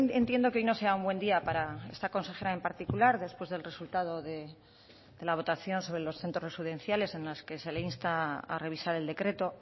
entiendo que hoy no sea un buen día para esta consejera en particular después del resultado de la votación sobre los centros residenciales en las que se le insta a revisar el decreto